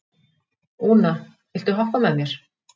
Úna, viltu hoppa með mér?